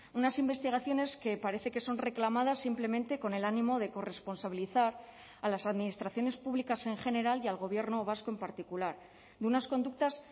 unas investigaciones que parece que son reclamadas simplemente con el ánimo de corresponsabilizar a las administraciones públicas en general y al gobierno vasco en particular de unas conductas